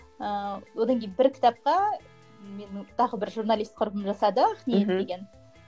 ыыы одан кейін бір кітапқа менің тағы бір журналист құрбым жасады ақниет деген